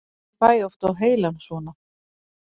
Ég fæ oft á heilann svona.